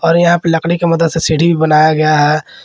और यहां पे लकड़ी की मदद से सीढ़ी भी बनाया गया है।